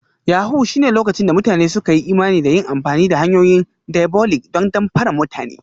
Yahoo+ shine lokacin da mutane suka yi imani da yin amfani da hanyoyin diabolic don damfara mutane